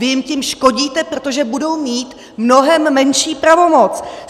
Vy jim tím škodíte, protože budou mít mnohem menší pravomoc!